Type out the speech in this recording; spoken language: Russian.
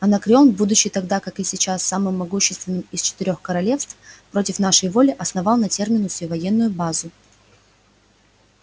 анакреон будучи тогда как и сейчас самым могущественным из четырёх королевств против нашей воли основал на терминусе военную базу